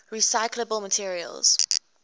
recyclable materials